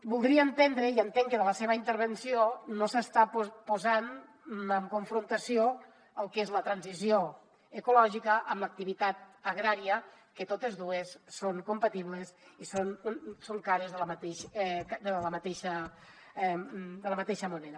voldria entendre i entenc que de la seva intervenció no s’està posant en confrontació el que és la transició ecològica amb l’activitat agrària que totes dues són compatibles i són cares de la mateixa moneda